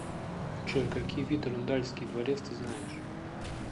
джой какие виды рундальский дворец ты знаешь